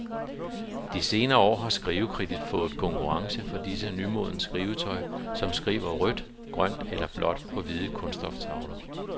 De senere år har skrivekridtet fået konkurrence fra diverse nymodens skrivetøj, som skriver rødt, grønt eller blåt på hvide kunststoftavler.